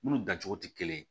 Munnu dancogo tɛ kelen ye